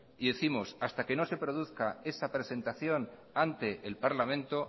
y décimos que hasta que no se produzca esa presentación ante el parlamento